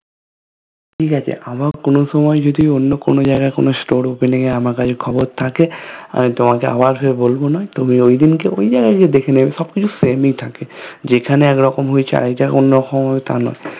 ঠিক আছে আমার কোনো সময় অন্য কোনো জায়গায় কোনো Store Opening এ আমার কাছে খবর থাকে আমি তোমাকে আবার ফের বলবো নয় তুমি ঐ দিনকে জায়গায় যেয়ে দেখে নিবে সব কিছু Same ই থাকে যে এখানে একরকম হয়েছে আরেক জায়গায় অন্য রকম হবে তা নয়